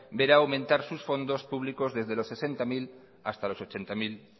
verá aumentar sus fondos públicos desde los sesenta mil hasta los ochenta mil